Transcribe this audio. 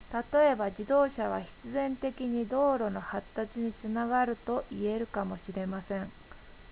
例えば自動車は必然的に道路の発達につながると言えるかもしれません